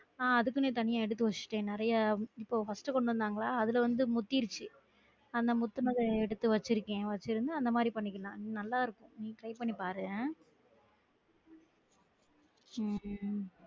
அஹ் அதுக்குன்னே தனியா எடுத்து வச்சுட்டேன் நெறையா இப்ப first கொண்டு வந்தாங்களா அதுல வந்து முத்திருச்சு நான் முத்துனத எடுத்து வச்சு இருக்கேன் வச்சு இருந்து அந்த மாறி பண்ணிகிறலாம் நல்லா இருக்கும் try பண்ணி பாரு ஹம்